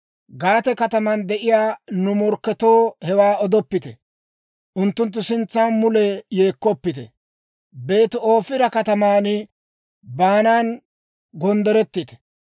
Gaate kataman de'iyaa nu morkketoo hewaa odoppite; unttunttu sintsan mule yeekkoppite. Beeti-Ofira kataman baanan gonddorettite.